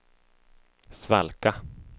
svalka